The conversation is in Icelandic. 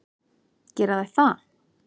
Gera þær það?